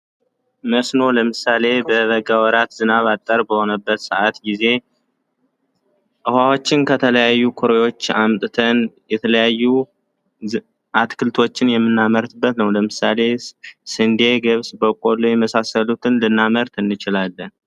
መስኖ ለምሳሌ በበጋ ወራት ዝናብ ባጠረበት ሰአት ጊዜ ውኃዎችን ከተለያዩ ኩሬዎች የተለያዩ አትክልቶች የምናመርበት ነው ለምሳሌ ስንዴ ገብስ በቀሎ የመሳሰሉትን ልናመርት እንችላለን።